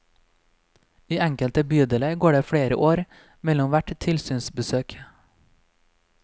I enkelte bydeler går det flere år mellom hvert tilsynsbesøk.